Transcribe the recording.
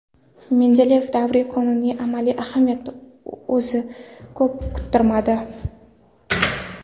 Mendeleyev davriy qonuning amaliy ahamiyati o‘zini ko‘p kuttirmadi.